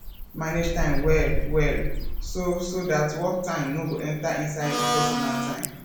manage time well well so so dat work time no go enter inside personal time